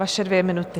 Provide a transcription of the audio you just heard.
Vaše dvě minuty.